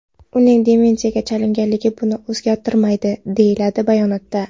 Uning demensiyaga chalinganligi buni o‘zgartirmaydi”, deyiladi bayonotda.